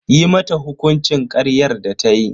Yi mata hukuncin karyar da tayi.